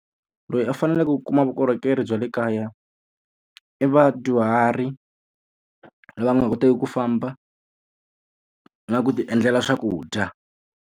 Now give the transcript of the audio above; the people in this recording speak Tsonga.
Loyi a faneleke ku kuma vukorhokeri bya le kaya i vadyuhari lava nga koteki ku famba, na ku ti endlela swakudya.